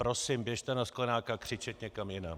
Prosím, běžte na Sklenáka křičet někam jinam.